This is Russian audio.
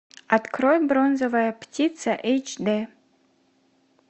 открой бронзовая птица эйч дэ